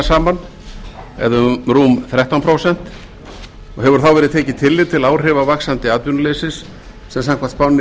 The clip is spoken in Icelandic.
saman eða um rúm þrettán prósent og hefur þá verið tekið tillit til áhrifa vaxandi atvinnuleysis sem samkvæmt spánni